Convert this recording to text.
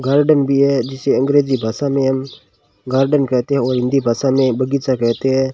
Garden भी है जिसे अंग्रेजी भाषा में हम गार्डन कहते हैं और हिंदी भाषा में बगीचा कहते हैं।